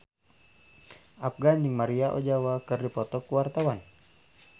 Afgan jeung Maria Ozawa keur dipoto ku wartawan